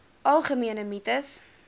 algemene mites